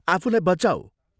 आफूलाई बचाऊ।